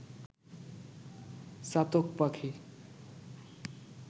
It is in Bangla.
চাতক পাখি